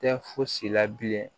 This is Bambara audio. Tɛ fosi la bilen